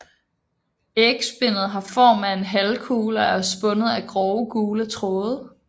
Ægspindet har form af en halvkugle og er spundet af grove gule tråde